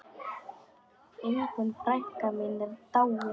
Ingunn frænka mín er dáin.